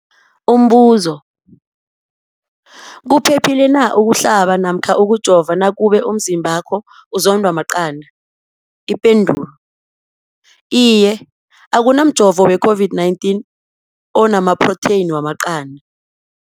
Umbuzo, kuphephile na ukuhlaba namkha ukujova nakube umzimbakho uzondwa maqanda. Ipendulo, Iye. Akuna mjovo we-COVID-19 ona maphrotheyini wamaqanda.